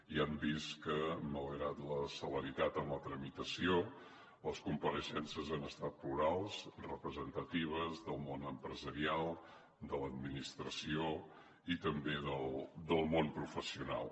ja hem vist que malgrat la celeritat en la tramitació les compareixences han estat plurals representatives del món empresarial de l’administració i també del món professional